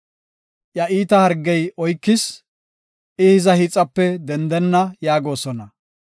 “Iya iita hargey oykis; I hiza hiixape dendenna” yaagosona.